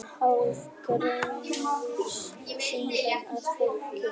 Hálf grenjaði síðan að fólkinu